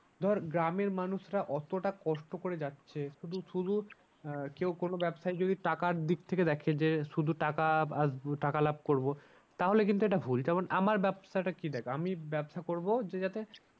ধর গ্রামের মানুষরা অতটা কষ্ট করে যাচ্ছে শুধু শুধু আহ কেউ কোনো ব্যবসায় যদি টাকার দিক থেকে দেখে যে শুধু টাকা টাকা লাভ করবো। তাহলে কিন্তু এটা ভুল যেমন আমার ব্যবসাটা কি দেখ আমি ব্যবসা করবো যে যাতে